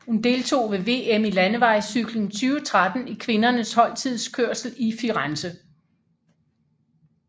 Hun deltog ved VM i landevejscykling 2013 i kvindernes holdtidskørsel i Firenze